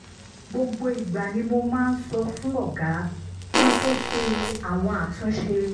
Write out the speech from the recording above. gbogbo ìgbà ni mo máa ń sọ fún ọ̀gá kí n tó ṣe àwọn àtúnṣe